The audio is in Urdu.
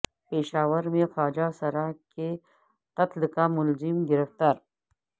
پشاور میں خواجہ سرا کے قتل کا ملزم گرفتار